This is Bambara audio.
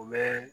U bɛ